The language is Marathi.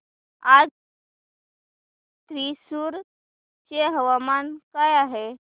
आज थ्रिसुर चे हवामान काय आहे